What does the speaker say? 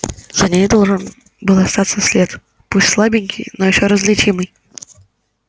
за ней должен был остаться след пусть слабенький но ещё различимый